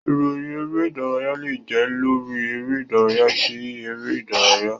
Ìròyìn eré-ìdárayá lè jẹ́ lórí eré-ìdárayá kí eré-ìdárayá.